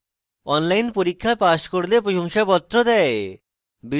online পরীক্ষা pass করলে প্রশংসাপত্র দেয়